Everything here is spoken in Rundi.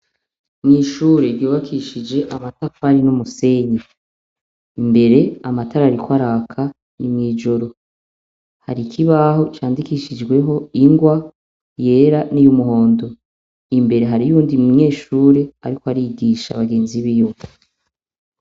N'ishure ryubakishije amatafari n'umusenyi. Imbere amatara ariko araka, ni mw'ijoro,. Hari ikibaho candikishijweho ingwa yera y'umuhondo. Imbere hariyo uyundi munyeshure ariko arigisha bagenzi biwe.